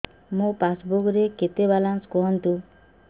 ମୋ ପାସବୁକ୍ ରେ କେତେ ବାଲାନ୍ସ କୁହନ୍ତୁ